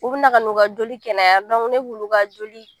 U bɛ na ka n'u ka joli kɛnɛya ne b'olu joli